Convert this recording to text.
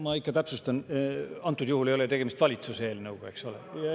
Ma ikka täpsustan, et antud juhul ei ole tegemist valitsuse eelnõuga, eks ole.